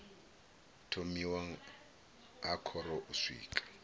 thomiwa ha khoro u swika